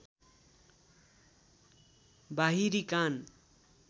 बाहिरी कान